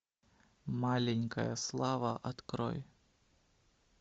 маленькая слава открой